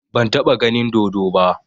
Ban taɓa ganin dodo ba